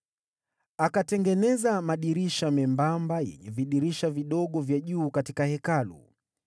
Akatengeneza madirisha membamba yenye vidirisha vidogo vya juu katika Hekalu.